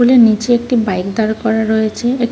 pole -টার নীচে একটি বাইক দাঁড় করা রয়েছে-এ --